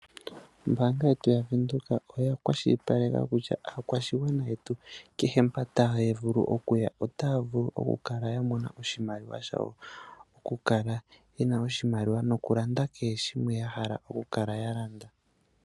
Ombaanga yetu yaVenduka oya kwashilipaleka kutya aakwashigwana yetu kehe mpoka taya vulu okuya , otaya vulu okukala ya mona oshimaliwa shawo, okukala yena oshimaliwa shayo, nokulanda kehe shimwe yahala okukala ya landa.